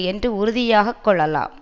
என்று உறுதியாக கொள்ளலாம்